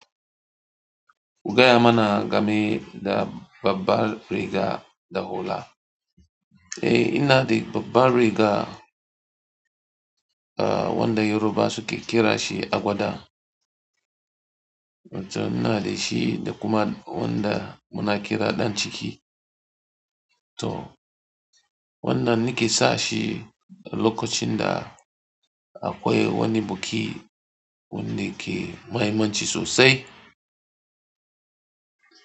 Gaya mana game da babbar riga da hula. Eh, ina da babbar riga, ah wanda Yorubawa suke kira shi agwada. Wan can ina da shi da kuma wanda muna kira ɗan ciki. To wannan nake sa shi lokacin da akwai wani buki wanda ke maihimanci sosai.